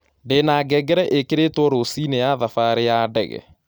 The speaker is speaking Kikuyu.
Ndĩ na ngengere ĩkĩrĩtwo rũcĩĩni ya thabarĩ ya ndege